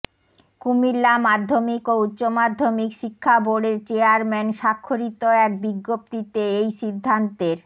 কুমিল্লা মাধ্যমিক ও উচ্চ মাধ্যমিক শিক্ষা বোর্ডের চেয়ারম্যান স্বাক্ষরিত এক বিজ্ঞপ্তিতে এই সিদ্ধান্তের